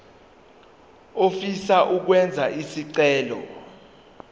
ofisa ukwenza isicelo